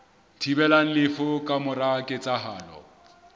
thibelang lefu ka mora ketsahalo